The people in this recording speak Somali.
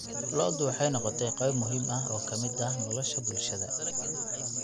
Lo'du waxay noqotay qayb muhiim ah oo ka mid ah nolosha bulshada.